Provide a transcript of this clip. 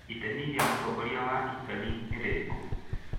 Itemi rĩa Mũtongoria wa Italy nĩ rĩrĩkũ?